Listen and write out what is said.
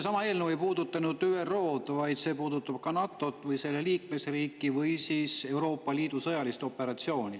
See eelnõu ei puuduta ainult ÜRO-d, vaid see puudutab ka NATO‑t või selle liikmesriiki või Euroopa Liidu sõjalist operatsiooni.